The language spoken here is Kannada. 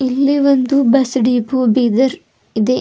ಇಲ್ಲಿ ಒಂದು ಬಸ್ ಡಿಪೋ ಬೀದರ್ ಇದೆ.